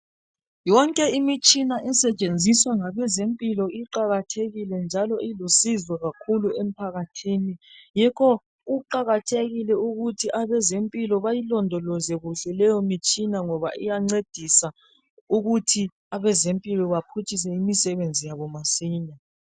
Yonke imitshina esetshenziswa ngabezempilo iqakathekile njalo ilusizo kakhulu emphakathini. Yikho kuqakathekile ukuthi abazempilo bayilondoloze kuhle leyomtshina ngoba iyancedisa ukuthi abezempilo baphutshise imisebenzi yabo masinya.